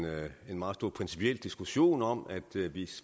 meget stor principiel diskussion om at